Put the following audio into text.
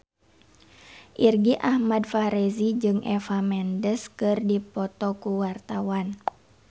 Irgi Ahmad Fahrezi jeung Eva Mendes keur dipoto ku wartawan